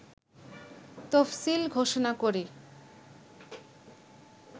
তফসিল ঘোষণা করে